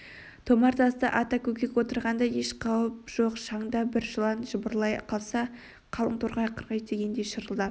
томар таста ата көкек отырғанда еш қауіп жоқ шаңда бір жылан жыбырлай қалса қалың торғай қырғи тигендей шырылдап